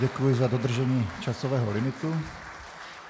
Děkuji za dodržení časového limitu.